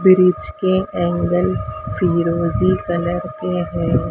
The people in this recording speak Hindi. फ्रिज के एंगल फिरोजी कलर के हैं।